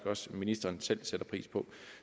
også ministeren selv sætter pris på